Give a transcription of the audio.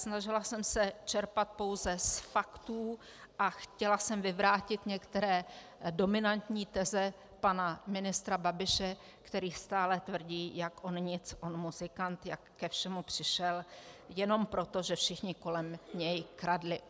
Snažila jsem se čerpat pouze z faktů a chtěla jsem vyvrátit některé dominantní teze pana ministra Babiše, který stále tvrdí, jak on nic, on muzikant, jak ke všemu přišel jenom proto, že všichni kolem něj kradli.